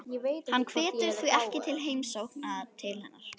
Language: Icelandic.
Hann hvetur því ekki til heimsókna til hennar.